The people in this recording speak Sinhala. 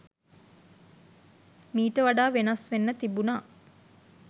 මීට වඩා වෙනස් වෙන්න තිබුණා.